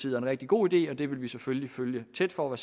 en rigtig god idé og det vil vi selvfølgelig følge tæt for at